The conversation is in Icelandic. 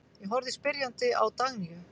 Ég horfði spyrjandi á Dagnýju.